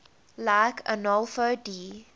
like arnolfo di